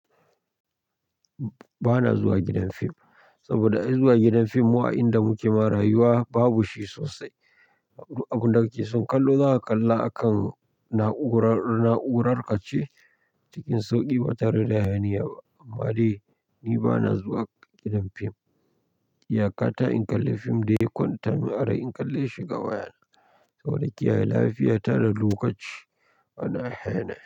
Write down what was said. Ba na zuwa gidan fim, saboda ai zuwa gidan fim mu a inda muke ma rayuwa babu shi sosai. Du abin da kake son kallo zaka kalla akan na'urar ka ce cikin sauƙi ba tare da hayaniya ba. Amma dai ni ba na zuwa gidan fim. Iyakata in kalle fim da ya kwanta mun arai in kalle shi, ga wayana. Saboda kiyaye lafiya ta da lokaci ana hayana.